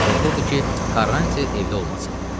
Qorxurdu ki, Quaranti evdə olmasın.